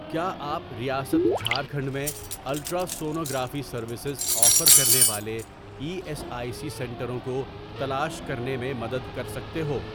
کیا آپ ریاست جھارکھنڈ میں الٹراسونوگرافی سروسز آفر کرنے والے ای ایس آئی سی سنٹروں کو تلاش کرنے میں مدد کر سکتے ہو؟